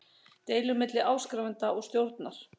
deilur milli áskrifanda og stjórnar.